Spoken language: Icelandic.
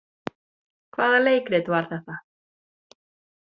Hvaða leikrit var þetta?